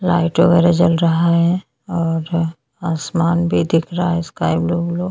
सड़क आ पेड़ो के निचे बाहर की साइड --